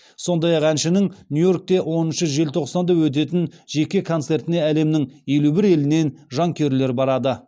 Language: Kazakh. сондай ақ әншінің нью йоркте оныншы желтоқсанда өтетін жеке концертіне әлемнің елу бір елінен жанкүйерлер барады